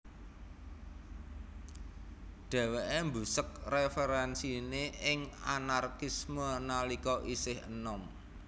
Dheweke mbusek referensine ing Anarkisme nalika isih enom